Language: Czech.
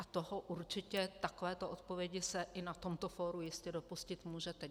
A toho určitě, takové odpovědi se i na tomto fóru jistě dopustit můžete.